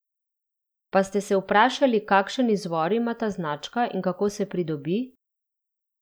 Pa ste se vprašali, kakšen izvor ima ta značka in kako se pridobi?